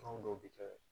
Fɛn dɔw bi kɛ